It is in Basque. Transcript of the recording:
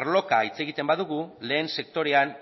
arloka hitz egiten badugu lehen sektorean